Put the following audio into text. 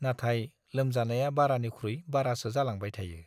नाथाय लोमजानाया बारानिखुइ बारासो जालांबाय थायो।